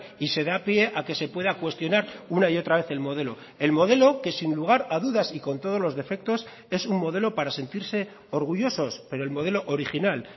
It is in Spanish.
y se da pie a que se pueda cuestionar una y otra vez el modelo el modelo que sin lugar a dudas y con todos los defectos es un modelo para sentirse orgullosos pero el modelo original